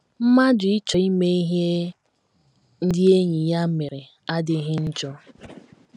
Mmadụ ịchọ ime ihe ndị enyi ya mere adịghị njọ.